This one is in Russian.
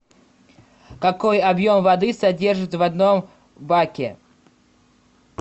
какой объем воды содержится в одном баке